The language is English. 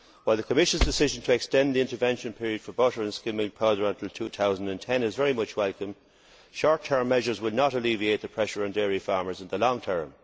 While the Commission's decision to extend the intervention period for butter and skimmed milk powder until 2010 is very much welcome, short term measures would not alleviate the pressure on dairy farmers in the long term.